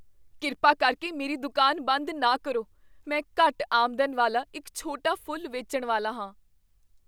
ਕਿਰਪਾ ਕਰਕੇ ਮੇਰੀ ਦੁਕਾਨ ਬੰਦ ਨਾ ਕਰੋ। ਮੈਂ ਘੱਟ ਆਮਦਨ ਵਾਲਾ ਇੱਕ ਛੋਟਾ ਫੁੱਲ ਵੇਚਣ ਵਾਲਾ ਹਾਂ।